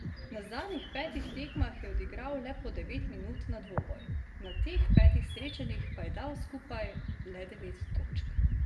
Na zadnjih petih tekmah je odigral le po devet minut na dvoboj, na teh petih srečanjih pa je dal skupaj le devet točk.